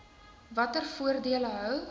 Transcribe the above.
watter voordele hou